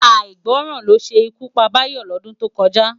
Áigbòrán ló sé ikú pá Dayo lòdún tókòjá